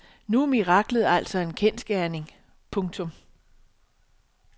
Nu er miraklet altså en kendsgerning. punktum